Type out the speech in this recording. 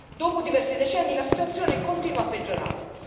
dopo diversi decenni la situazione continua a peggiorare.